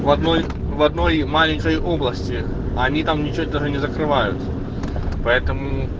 в одной в одной маленькой области они там ничего даже не закрывают поэтому